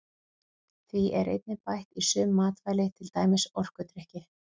Því er einnig bætt í sum matvæli til dæmis orkudrykki.